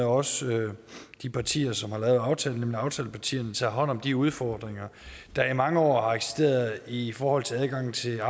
også de partiers side som har lavet aftalen nemlig aftalepartierne tager hånd om de udfordringer der i mange år har eksisteret i forhold til adgangen til